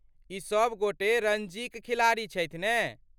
ई सभ गोटे रणजीक खिलाड़ी छथि ने?